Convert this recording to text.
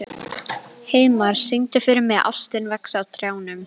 Heiðmar, syngdu fyrir mig „Ástin vex á trjánum“.